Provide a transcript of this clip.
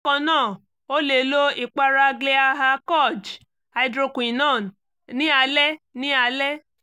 bákan náà o lè lo ìpara glyaha koj hydroquinone ní alẹ́ ní alẹ́